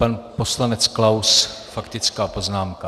Pan poslanec Klaus faktická poznámka.